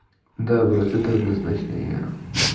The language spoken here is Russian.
да брат это однозначные